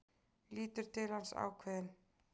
Lítur til hans, ákveðin.